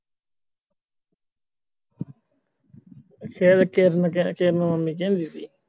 ਸ਼ਾਇਦ ਕਿਹੇ ਨੂੰ ਕਿਹੇ ਨੂੰ ਆਉਦੀ ਹੁੰਦੀ ਸੀ